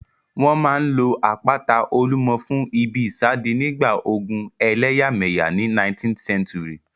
Wọ́n máa n lo àpáta Olúmọ fún ìbí ìsádi nígbà ogun ẹlẹ́yàmẹ̀yà ní 19th century